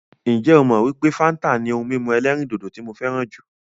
Ǹjẹ́ ó mọ wípé fáńtà ni ohun mímu ẹ̀lẹ́rìndodò tí mo fẹràn jùlọ?